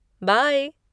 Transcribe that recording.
Bye!